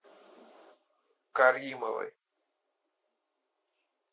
каримовой